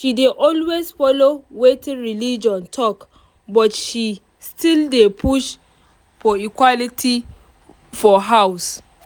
she dey always follow wetin religion talk but she still dey push for equality for house